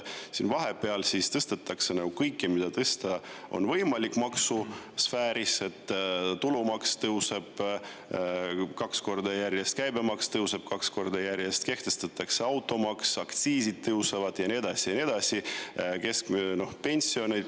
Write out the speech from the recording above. Vahepeal tõstetakse kõike, mida on võimalik maksusfääris tõsta: tulumaks tõuseb kaks korda järjest, käibemaks tõuseb kaks korda järjest, kehtestatakse automaks, aktsiisid tõusevad ja nii edasi ja nii edasi.